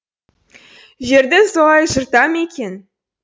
жерді солай жырта ма екен